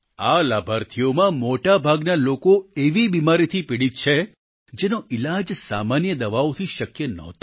આ લાભાર્થીઓમાં મોટાભાગના લોકો એવી બિમારીથી પીડિત છે જેનો ઈલાજ સામાન્ય દવાઓથી શક્ય ન હતો